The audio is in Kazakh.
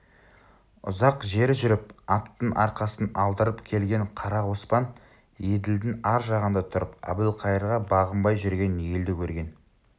ұзақ жер жүріп аттың арқасын алдырып келген қара оспан еділдің ар жағында тұрып әбілқайырға бағынбай жүрген елді көрген